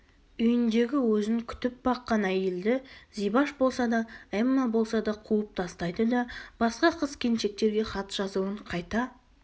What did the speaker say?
үйіндегі өзін күтіп-баққан әйелді зибаш болса да эмма болса да қуып тастайды да басқа қыз-келіншектерге хат жазуын қайта